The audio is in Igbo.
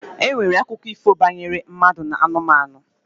E nwere akụkọ ifo banyere mmadụ na anụmanụ.